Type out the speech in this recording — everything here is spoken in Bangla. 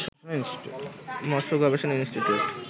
মৎস্য গবেষণা ইনষ্টিটিউট